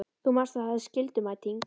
Þú manst að það er skyldumæting!